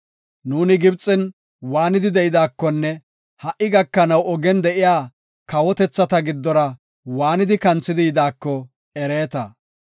Nuuni Gibxen waanidi de7idaakonne ha77i gakanaw ogen de7iya kawotethata giddora waanidi kanthidi yidaako ereeta.